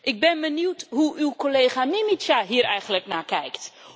Ik ben benieuwd hoe uw collega Mimica hier eigenlijk naar kijkt?